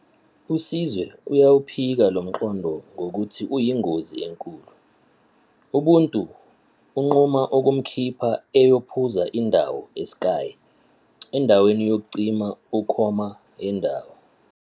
USizwe uyawuphika lo mqondo ngokuthi uyingozi enkulu. UBuntu unquma ukumkhipha ayophuza indawo eSky, endaweni yokucima ukoma yendawo.